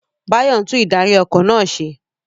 Bayo ń tún ìdarí- ọkọ̀ náà ṣe.